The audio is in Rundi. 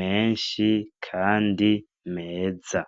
menshi kandi meza.